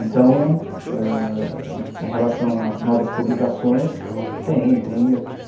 Então, em relação a novas publicações, tem.